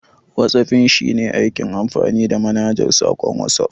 Whatsaffin shine aikin amfani da manhajar saƙon Watsuf.